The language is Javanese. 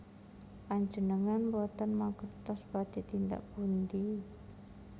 Panjenengan boten mangertos badhé tindak pundi